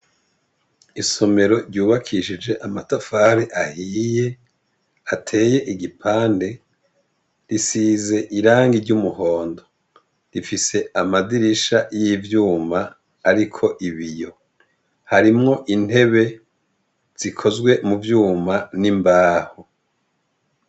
Isomero ryubakishije amatafari ahiye, hateye igipande risize irangi ry' umuhondo ifise amadirisha yivyuma, arik' ibiyo harimw' intebe zikozwe mu vyuma n' imbaho.